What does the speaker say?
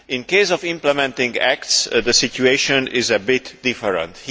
In the case of implementing acts, the situation is a bit different.